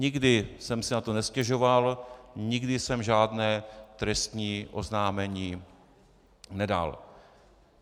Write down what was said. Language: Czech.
Nikdy jsem si na to nestěžoval, nikdy jsem žádné trestní oznámení nedal.